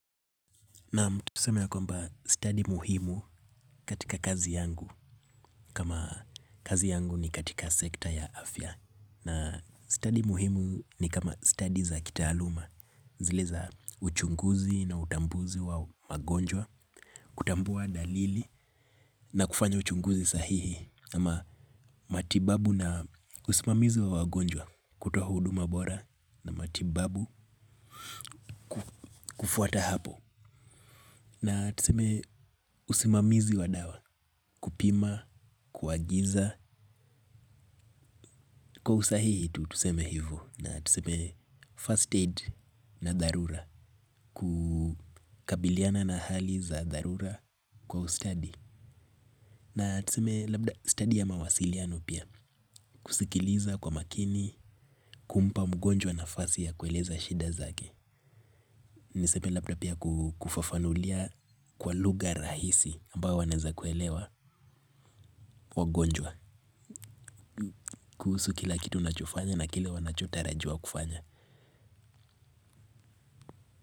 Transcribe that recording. Naam tuseme ya kwamba study muhimu katika kazi yangu kama kazi yangu ni katika sekta ya afya. Na study muhimu ni kama study za kitaaluma. Zile za uchunguzi na utambuzi wa magonjwa, kutambua dalili na kufanya uchunguzi sahihi. Kama matibabu na usimamizi wa wagonjwa, kutoa huduma bora na matibabu kufuata hapo. Na tuseme usimamizi wa dawa, kupima, kuagiza. Kwa usahihi tu tuseme hivo. Na tuseme first aid na dharura. Kukabiliana na hali za dharura kwa ustadi. Na tuseme labda study ya mawasiliano pia. Kusikiliza kwa makini, kumpa mgonjwa nafasi ya kueleza shida zake. Naesa pia labda pia kufafanulia kwa lugha rahisi ambayo wanaeza kuelewa wagonjwa. Kuhusu kila kitu nachofanya na kile wanachotarajiwa kufanya.